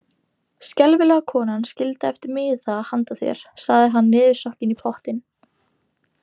Skelfilega konan skildi eftir miða handa þér, sagði hann niðursokkinn í pottinn.